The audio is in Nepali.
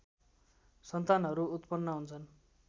सन्तानहरू उत्पन्न हुन्छन्